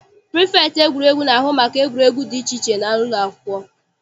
Prifektị egwuregwu na-ahụ maka egwuregwu dị iche iche n'ụlọakwụkwọ.